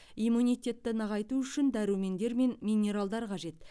иммунитетті нығайту үшін дәрумендер мен минералдар қажет